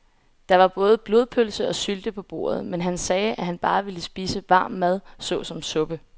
Der var både blodpølse og sylte på bordet, men han sagde, at han bare ville spise varm mad såsom suppe.